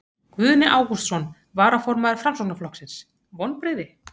Guðni Ágústsson, varaformaður Framsóknarflokksins: Vonbrigði?